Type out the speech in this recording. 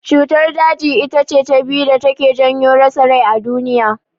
Cutar daji itace ta biyu da take janyo rasa rai a duniya.